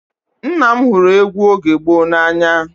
Nna m hụrụ egwu oge gboo n'anya